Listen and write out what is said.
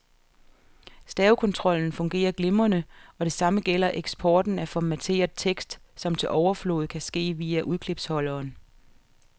Stavekontrollen fungerer glimrende, og det samme gælder eksporten af formateret tekst, som til overflod kan ske via udklipsholderen.